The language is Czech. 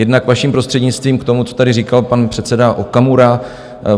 Jednak vaším prostřednictvím k tomu, co tady říkal pan předseda Okamura.